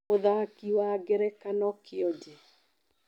Mũthaki wa ngerekano kĩonje.